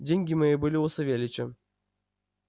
деньги мои были у савельича